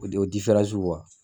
O de o diferansi in kuwa